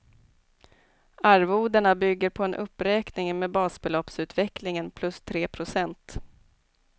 Arvodena bygger på en uppräkning med basbeloppsutvecklingen plus tre procent.